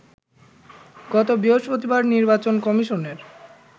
গত বৃহস্পতিবার নির্বাচন কমিশনের